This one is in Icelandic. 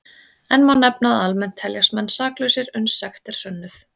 Enn má nefna að almennt teljast menn saklausir uns sekt er sönnuð.